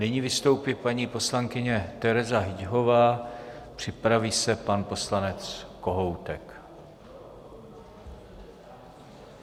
Nyní vystoupí paní poslankyně Tereza Hyťhová, připraví se pan poslanec Kohoutek.